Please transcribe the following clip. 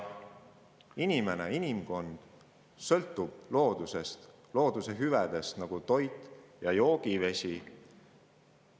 Inimene ja inimkond sõltuvad loodusest ja looduse hüvedest, nagu toit ja puhas joogivesi.